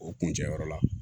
O kun cɛ yɔrɔ la